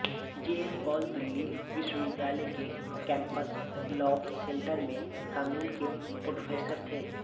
JL Kaul Delhi विश्वविद्यालय के campus law centre में कानून के प्रोफेसर थे